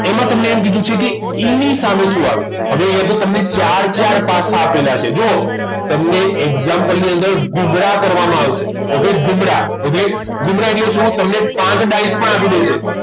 એમાં તમને એમ કીધું છે કે E ની સામે શું આવે હવે અહીંયા તમને ચાર ચાર પાસા આપેલા છે જુઓ તમને example ની અંદર ગુમરા કરવામાં આવશે okay ગુમરા એટલે ગુમરા એટલે શું તમને પાંચ ડાઈસ પણ આપી દે છે